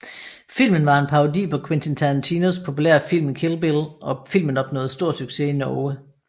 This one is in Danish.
Filmen var en parodi på Quentin Tarantinos populære film Kill Bill og filmen opnåede stor succes i Norge